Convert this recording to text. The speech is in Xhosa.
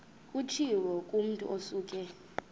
kutshiwo kumotu osuke